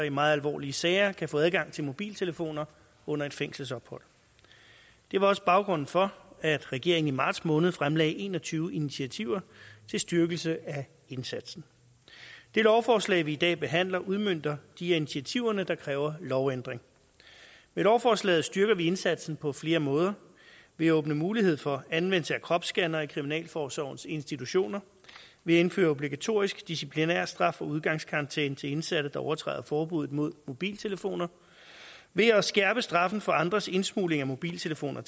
i meget alvorlige sager kan få adgang til mobiltelefoner under et fængselsophold det var også baggrunden for at regeringen i marts måned fremlagde en og tyve initiativer til styrkelse af indsatsen det lovforslag vi i dag behandler udmønter de af initiativerne der kræver lovændring med lovforslaget styrker vi indsatsen på flere måder ved at åbne mulighed for anvendelse af kropsscannere i kriminalforsorgens institutioner ved at indføre obligatorisk disciplinærstraf og udgangskarantæne til indsatte der overtræder forbuddet mod mobiltelefoner ved at skærpe straffen for andres indsmugling af mobiltelefoner